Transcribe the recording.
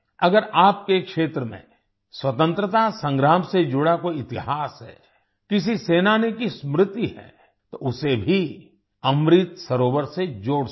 अगर आपके क्षेत्र में स्वतंत्रता संग्राम से जुड़ा कोई इतिहास है किसी सेनानी की स्मृति है तो उसे भी अमृत सरोवर से जोड़ सकते हैं